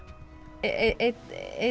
einn